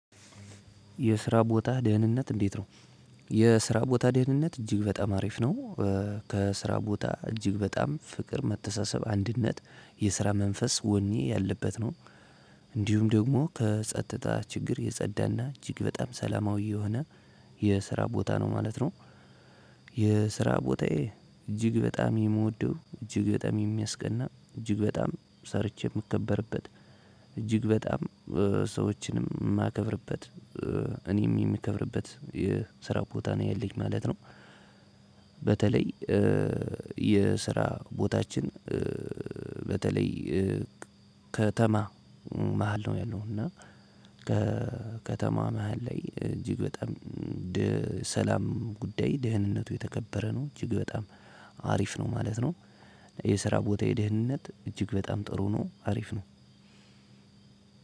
የስራ ቦታ ደህንነት እንዴት ነው? የስራ ቦታ ደህንነት እጅግ በጣም አሪፍ ነው። ከስራ ቦታ እጅግ በጣም ፍቅር መተሳሰብ አንድነት የስራ መንፈስ ወኔ ያለበት ነው። እንዲሁም ደግሞ ከጸጥታ ችግር የጸዳና እጅግ በጣም ሰላማዊ የሆነ የስራ ቦታ ነው ማለት ነው። የስራ ቦታዬ እጅግ በጣም የምወደው እጅግ በጣም የሚያስቀና እጅግ በጣም ሰርቼ የምከበርበት። እጅግ በጣም ሰዎችንም የማከብርበት። እኔም የምከብርበት የስራ ቦታ ነው ያለኝ ማለት ነው። በተለይ የስራ ቦታችን። በተለይ ከተማ መሃል ነው ያለው እና። ከከተማ መሃል ላይ እጅግ በጣም ድህ ሰላም ጉዳይ ደህንነቱ የተከበረ ነው እጅግ በጣም አሪፍ ነው ማለት ነው። የስራ ቦታዬ ደህንነት እጅግ በጣም ጥሩ ነው አሪፍ ነው።